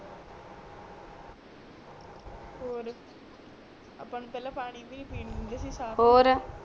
ਔਰ ਆਪਾ ਨੂੰ ਵੇਲੇ ਪਾਨੀ ਵੀ ਨੀ ਪੀਣ ਦਿੰਦੇ ਸੀ